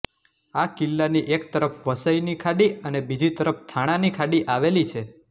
આ કિલ્લાની એક તરફ વસઇની ખાડી અને બીજી તરફ થાણાની ખાડી આવેલી છે